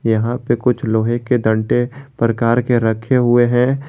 यहां पे कुछ लोहे के डंडे प्रकार के रखे हुए हैं।